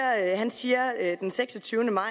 han siger den seksogtyvende maj